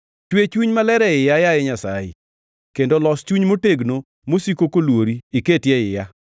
Chwe chuny maler e iya, yaye Nyasaye, kendo los chuny motegno mosiko koluori iket e iya.